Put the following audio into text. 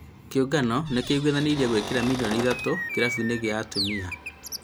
Kĩũngano nĩ kĩiguithanĩirie gũĩkĩra milioni ithatũ kĩrabu-inĩ gĩa a tum is